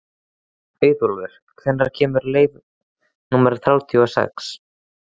Auðólfur, hvenær kemur leið númer þrjátíu og sex?